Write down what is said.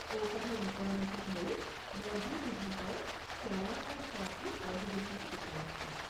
ঔষধৰ বিতৰণকে ধৰি বহিৰ্বিভাগৰ সেৱা আৰু থেৰাপী বহিৰ্বিভাগত উপলব্ধ।